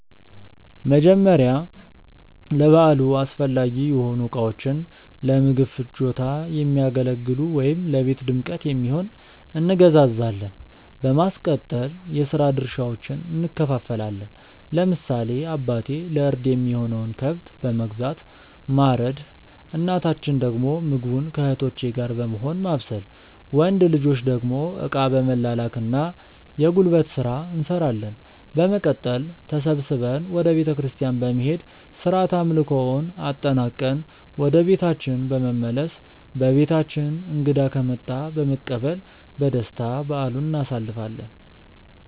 መጀመርያ ለበዓሉ አስፈላጊ የሆኑ እቃዎችን(ለምግብ ፍጆታ የሚያገለግሉ ወይም ለቤት ድምቀት የሚሆን)እንገዛዛለን። በማስቀጠል የስራ ድርሻዎችን እንከፋፈላለን። ለምሳሌ አባቴ ለእርድ የሚሆነውን ከብት በመግዛት ማረድ እናታችን ደግሞ ምግቡን ከእህቶቼ ጋር በመሆን ማብሰል። ወንድ ልጆች ደግሞ እቃ በመላላክ እና የጉልበት ስራ እንሰራለን። በመቀጠል ተሰብስበን ወደ ቤተክርስቲያን በመሄድ ስርዓተ አምልኮውን አጠናቅቀን ወደ ቤታችን በመመለስ በቤታችን እንግዳ ከመጣ በመቀበል በደስታ በዓሉን እናሳልፋለን።